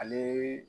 Ale